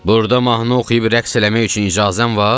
Burda mahnı oxuyub rəqs eləmək üçün icazən var?